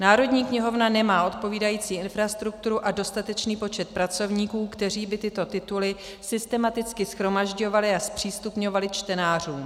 Národní knihovna nemá odpovídající infrastrukturu a dostatečný počet pracovníků, kteří by tyto tituly systematicky shromažďovali a zpřístupňovali čtenářům.